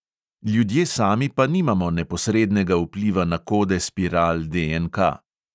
Ljudje sami pa nimamo neposrednega vpliva na kode spiral DNK.